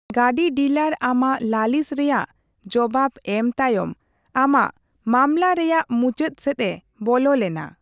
ᱜᱟᱺᱰᱤ ᱰᱤᱞᱟᱹᱨ ᱟᱢᱟᱜ ᱞᱟᱞᱤᱥ ᱨᱮᱭᱟᱜ ᱡᱚᱵᱟᱵᱽ ᱮᱢ ᱛᱟᱭᱚᱢ, ᱟᱢᱟᱜ ᱢᱟᱢᱞᱟᱨᱮᱭᱟᱜ ᱢᱩᱪᱟᱹᱫ ᱥᱮᱫ ᱮ ᱵᱚᱞᱚ ᱞᱮᱱᱟ ᱾